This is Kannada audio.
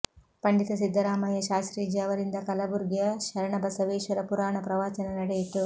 ಪಂಡಿತ ಸಿದ್ದರಾಮಯ್ಯ ಶಾಸ್ತ್ರೀಜಿ ಅವರಿಂದ ಕಲಬುರ್ಗಿಯ ಶರಣಬಸವೇಶ್ವರ ಪುರಾಣ ಪ್ರವಚನ ನಡೆಯಿತು